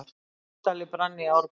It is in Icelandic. Kastali brann í Árbæ